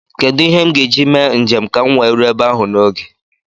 Kedụ ihe m ga-eji mee njem ka m wee ruo ebe ahụ n'oge?